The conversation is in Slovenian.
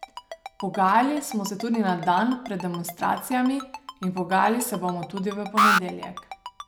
Pogajali smo se tudi na dan pred demonstracijami in pogajali se bomo tudi v ponedeljek.